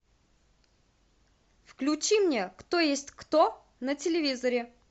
включи мне кто есть кто на телевизоре